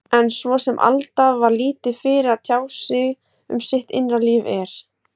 En svo sem Alda var lítið fyrir að tjá sig um sitt innra líf, er